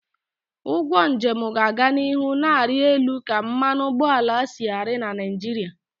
Ugwo njem ga-aga n'ihu na-arị elu ka mmanụ ụgbọala si ari na Naịjirịa